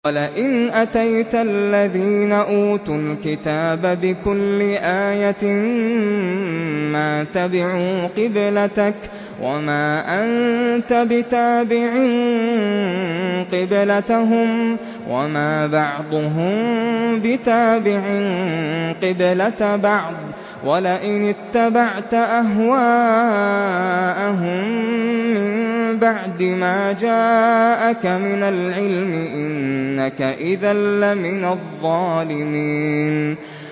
وَلَئِنْ أَتَيْتَ الَّذِينَ أُوتُوا الْكِتَابَ بِكُلِّ آيَةٍ مَّا تَبِعُوا قِبْلَتَكَ ۚ وَمَا أَنتَ بِتَابِعٍ قِبْلَتَهُمْ ۚ وَمَا بَعْضُهُم بِتَابِعٍ قِبْلَةَ بَعْضٍ ۚ وَلَئِنِ اتَّبَعْتَ أَهْوَاءَهُم مِّن بَعْدِ مَا جَاءَكَ مِنَ الْعِلْمِ ۙ إِنَّكَ إِذًا لَّمِنَ الظَّالِمِينَ